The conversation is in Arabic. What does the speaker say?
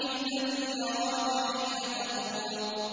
الَّذِي يَرَاكَ حِينَ تَقُومُ